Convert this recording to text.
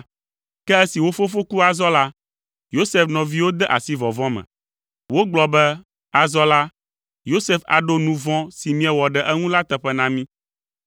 Ke esi wo fofo ku azɔ la, Yosef nɔviwo de asi vɔvɔ̃ me. Wogblɔ be, “Azɔ la, Yosef aɖo nu vɔ̃ si míewɔ ɖe eŋu la teƒe na mí.”